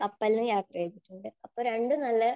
കപ്പലിലും യാത്ര ചെയ്തിട്ടുണ്ട്. അപ്പോൾ രണ്ടും നല്ല